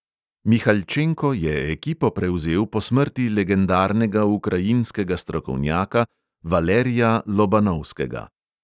Mihaljčenko je ekipo prevzel po smrti legendarnega ukrajinskega strokovnjaka valerija lobanovskega.